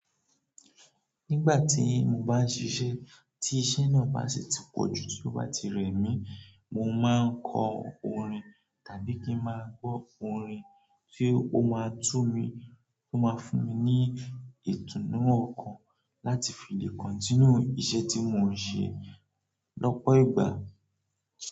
Nigba ti mo baa n sise, ti ise naa ba si ti poju toba ti remi, mo maa ko orin tabi ki maa gbo orin ti o maa fun mi itunu okan lati fi le kontiniu ise ti mo n se lopo igba.